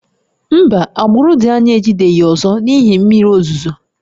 Mba, agbụrụ dị anya ejideghị ọzọ n'ihi mmiri ozuzo